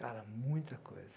Cara, muita coisa.